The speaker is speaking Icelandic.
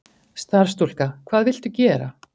Starfsstúlka: Hvað viltu gera?